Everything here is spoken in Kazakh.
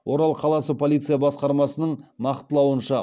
орал қаласы полиция басқармасының нақтылауынша